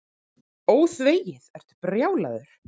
ÓÞVEGIÐ, ertu brjálaður.